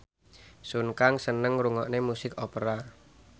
Sun Kang seneng ngrungokne musik opera